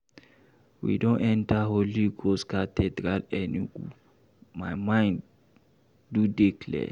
We don enta Holy Ghost Cathedral Enugu, my mind do dey clear.